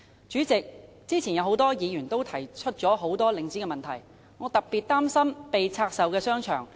主席，剛才多位議員均指出領展的很多問題，我特別擔心被拆售的商場。